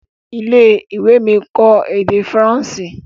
ilé-ìwé mí nkọ èdè Faransé.